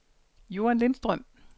Joan Lindstrøm